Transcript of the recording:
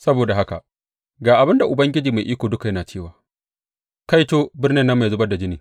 Saboda haka ga abin da Ubangiji Mai Iko Duka yana cewa, Kaito birnin nan mai zubar da jini!